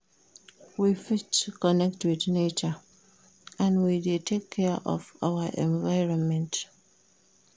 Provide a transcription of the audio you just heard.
We fit connect with nature when we de take care of our environment